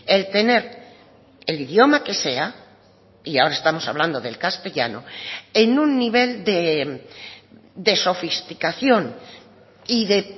el tener el idioma que sea y ahora estamos hablando del castellano en un nivel de sofisticación y de